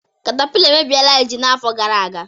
Katapila emebiela ji n'afọ gara aga